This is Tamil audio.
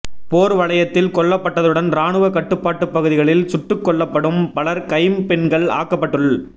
போர் வலயத்தில் கொல்லப்பட்டதுடன் இராணுவக் கட்டுப்பாட்டுப் பகுதிகளில் சுட்டுக்கொல்லப்பட்டும் பலர் கைம்பெண்கள் ஆக்கப்பட்டுள்